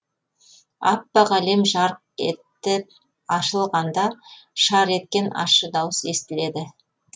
аппақ әлем жарқ етіп ашылғанда шар еткен ащы дауыс естіледі